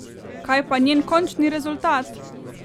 Kaj pa njen končni rezultat?